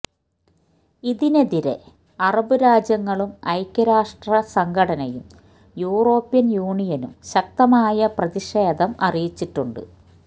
ഇതിനെതിരെ അറബ് രാജ്യങ്ങളും ഐക്യരാഷ്ട്ര സംഘടനയും യൂറോപ്യന് യൂണിയനും ശക്തമായ പ്രതിഷേധം അറിയിച്ചിട്ടുണ്ട്